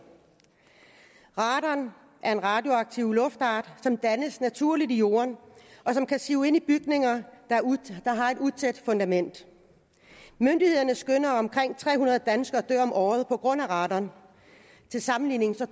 radon er en radioaktiv luftfart som dannes naturligt i jorden og som kan sive ind i bygninger der har et utæt fundament myndighederne skønner at omkring tre hundrede danskere dør om året på grund af radon til sammenligning